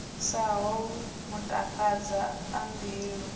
sa holwu matakadza a mbilu